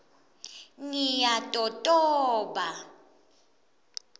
ngiyatotoba